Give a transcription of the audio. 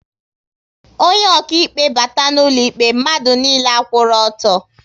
Onye okaịkpe bata n'ụlọ ikpe, mmadụ niile a kwụrụ ọtọ